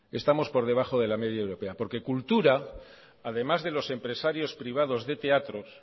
estamos por debajo de la media europea porque cultura además de los empresarios privados de teatros